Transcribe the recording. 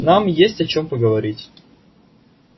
нам есть о чем поговорить